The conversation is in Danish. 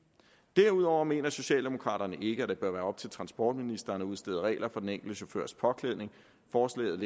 derudover mener socialdemokraterne ikke at det bør være op til transportministeren at udstede regler for den enkelte chaufførs påklædning forslaget